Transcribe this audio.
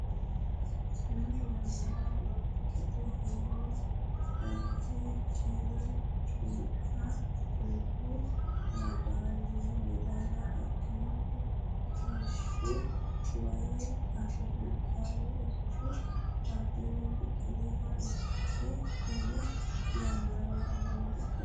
Umi yannara olompikete heewo dhagge qeele culku maadaaliya adhinohu kolishshu woy Afrikaaw- ichu Abbbebe Biqiliha ikki Umi yannara olompikete heewo.